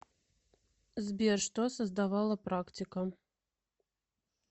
сбер что создавала практика